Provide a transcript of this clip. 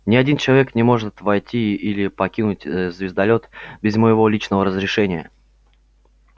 ни один человек не может войти или покинуть звездолёт без моего личного разрешения